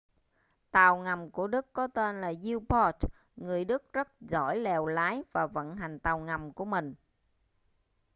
tàu ngầm của đức có tên là u-boat người đức rất giỏi lèo lái và vận hành tàu ngầm của mình